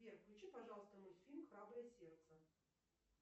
сбер включи пожалуйста мультфильм храброе сердце